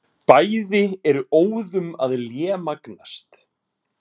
Bæði eru óðum að lémagnast.